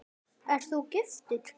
Ert þú giftur?